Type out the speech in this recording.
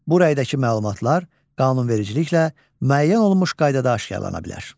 Bu rəydəki məlumatlar qanunvericiliklə müəyyən olunmuş qaydada aşkarlana bilər.